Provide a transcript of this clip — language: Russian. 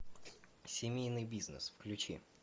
семейный бизнес включи